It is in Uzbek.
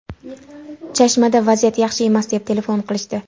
Chashmada vaziyat yaxshi emas, deb telefon qilishdi.